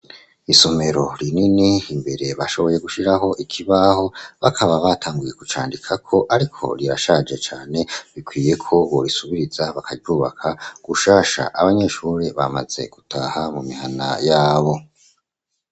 Isomero rinini imbere bashoboye gushiraho ikibaho bakaba batanguye kucandikako, ariko rirashaje cane bikwiyeko borisubiriza bakarubaka gushasha abanyeshuri bamaze gutaha mu mihana yabo.